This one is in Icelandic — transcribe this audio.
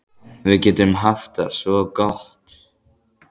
Við getum haft það svo gott.